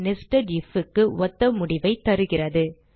nested if க்கு ஒத்த முடிவைத் தருகிறது